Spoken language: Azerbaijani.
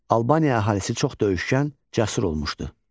Albaniya əhalisi çox döyüşkən, cəsur olmuşdu.